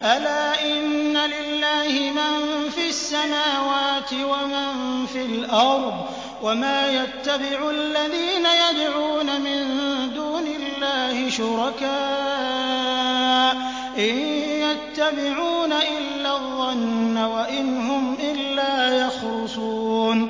أَلَا إِنَّ لِلَّهِ مَن فِي السَّمَاوَاتِ وَمَن فِي الْأَرْضِ ۗ وَمَا يَتَّبِعُ الَّذِينَ يَدْعُونَ مِن دُونِ اللَّهِ شُرَكَاءَ ۚ إِن يَتَّبِعُونَ إِلَّا الظَّنَّ وَإِنْ هُمْ إِلَّا يَخْرُصُونَ